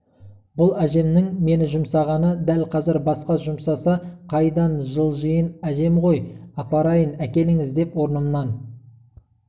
бұл әжемнің мені жұмсағаны дәл қазір басқа жұмсаса қайдан жылжиын әжем ғой апарайын әкеліңіз деп орнымнан